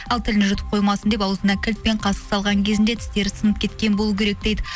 ал тілін жұтып қоймасын деп аузына кілт пен қасық салған кезінде тістері сынып кеткен болу керек дейді